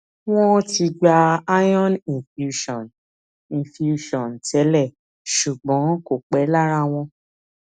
wọọn ti gba iron infusion infusion tẹlẹ ṣùgbọn kò pẹ lára wọn